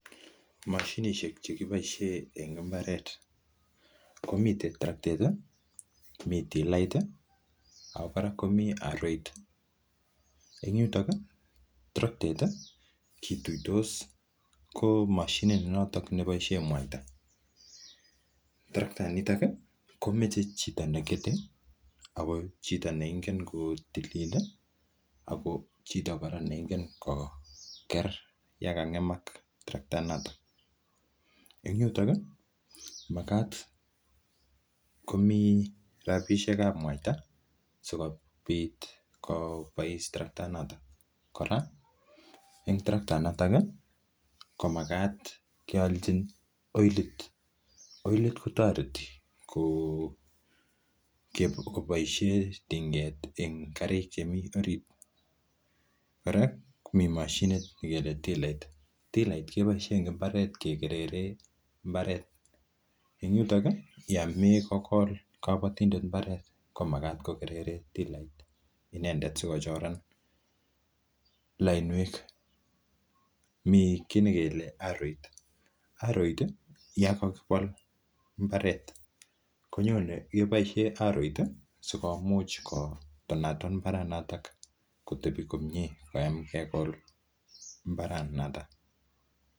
Mashinishek che kiboisie en mbaret, komiten: terektait, mi tilait, ago kora komi aroiten yutun, terektait kituitos komoshinit noto neboisie mwaita. Terekta inito komoche chito negete ago chito neimuch kotili ago chito kora neingen koger ye kang'emak terekta inoto. En yuton ii magat komi rabishek ab mwaita sikobit kobois terketa inoto. Kora en terekta inoton komagat keolchi oilit. Oilit kotoreti koboishie tinget karik chemi orit. Kora komi mashinit nekele tilait. Tilait keboisie kegereren mbaret en yuton yomoche kogol kabotindet mbaret komaget kogerere tilait inendet sikochoran lainwek. Mi kiy nekele aroit. Aroit ko yon kogibol mbaret ko nyone aroit ii sikomuch kotonaton mbaranoto kotebi komye koyam kemin mbaranoto.